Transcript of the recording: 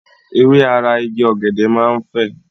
Ewé ara Igi ọ̀gẹ̀dẹ̀ máa ń fè.